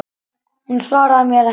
Hún svaraði mér ekki.